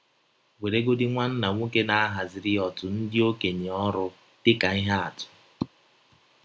Weregodị nwanna nwọke na - ahaziri ọtụ ndị ọkenye ọrụ dị ka ihe atụ.